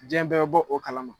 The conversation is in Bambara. Jiyɛn bɛɛ bo o kalama.